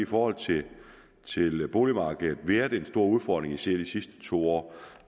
forhold til boligmarkedet været en stor udfordring især i de sidste to år